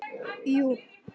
Jú